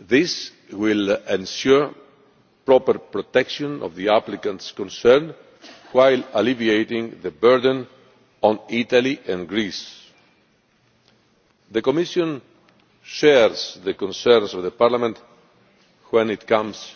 This will ensure the proper protection of the applicants concerned while alleviating the burden on Italy and Greece. The Commission shares the concerns of Parliament when it comes